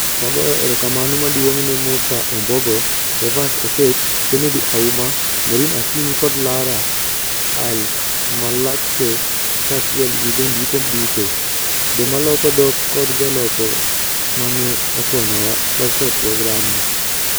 Wagoyo erokamano maduong' ne Musa Ombogo, Evans Oketch, Kennedy Auma, Mourine Akinyi kod Lara AlMalakeh kaachiel gi jondiko duto, joma loko dhok, kod joloko ma ne okonyowa loso programni.